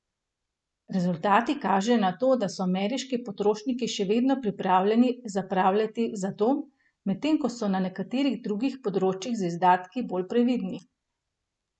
Rezultati kažejo na to, da so ameriški potrošniki še vedno pripravljeni zapravljati za dom, medtem ko so na nekaterih drugih področjih z izdatki bolj previdni.